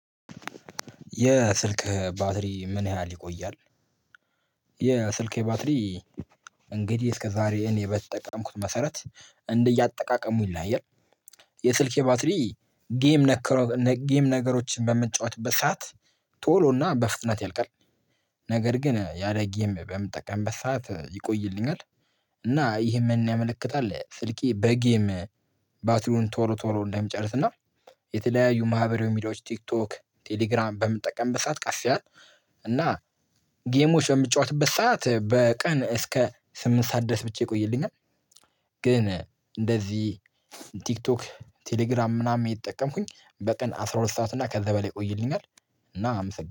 የስልክህ ባትሪ ምን ያህል ይቆያል? የስልኬ ባትሪ እንግዲህ እስከ ዛሬ እኔ በተጠቀምኩት መሰረት እንደ እያጠቃቀሙ ይለያያል። የስልኬ ባትሪ ጌም ነገሮችን በምጫወትበት ሰዓት ቶሎና በፍጥነት ያልቃልነገር ግን ያለጌም በምጠቀምበት ሰዓት ይቆይልኛል። እና ይሄን ያመለክታል ስልኬ በጌም ባትሪውን ቶሎ ቶሎ እንደሚጨርስና የተለያዩ ማህበራዊ ሚድያዎች ቲክቶክ ቴሌግራም በምንጠቀምበት ሰዓት ቀስ ይላል። እና ጌሞች በምጫወትበት ሰዓት በቀን እስከ ስምንት ሰዓት ድረስ ብቻ ይቆይልኛል። ግን እንደዚህ ቲክቶክ ቴሌግራም ምናምን እተጠቀምኩኝ በቀን አስራ ሁለት ሰዓት እና ከዛ በላይ ቆይልኛል። እና